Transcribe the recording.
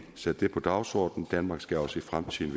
sat det på dagsordenen danmark skal også i fremtiden